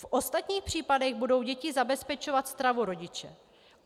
V ostatních případech budou dětem zabezpečovat stravu rodiče.